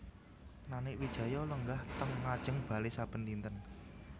Nanik Wijaya lenggah teng ngajeng bale saben dinten